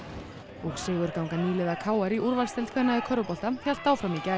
og sigurganga nýliða k r í úrvalsdeild kvenna í körfubolta hélt áfram í gær